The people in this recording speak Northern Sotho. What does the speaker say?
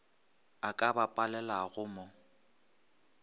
a ka ba palelago mo